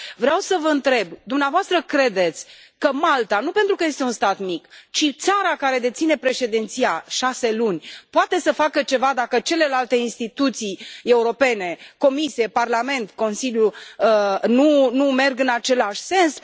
Vreau să vă întreb dumneavoastră credeți că Malta, nu pentru că este un stat mic, ci țara care deține președinția șase luni, poate să facă ceva dacă celelalte instituții europene Comisie, Parlament, Consiliu nu merg în același sens?